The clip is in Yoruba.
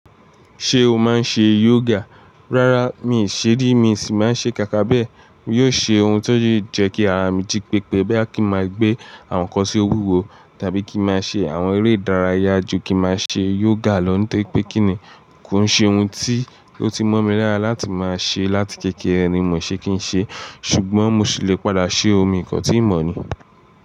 Ṣé o máa ń ṣe yoga? Rárá, mi ì ṣé ri, mi sì máa ń ṣe kàkà bẹ́ẹ̀. Yóò ṣe ohun tó yẹ kí àrà mi jí pépé, boya kí máa gbé àwọn nnkan sí owúwo tàbí kí máa ṣe àwọn eré ìdárayá ju kí máa ṣe yoga lọ ní tẹ́ pé kín ní. Kò ń ṣe ohun tí ó ti mọ̀ mi lara láti máa ṣe láti kéékèèré ni mọ̀ ṣe kín ṣe, ṣùgbọ́n mo sì le padà ṣe omi nǹkan tí mo mọ̀ ni.